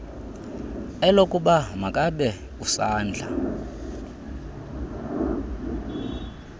elokuba makabe usadla